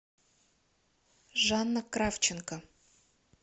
жанна кравченко